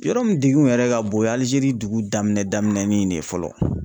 Yɔrɔ min degun yɛrɛ ka bon, o ye Aljeri dugu daminɛ daminɛnin de ye fɔlɔ.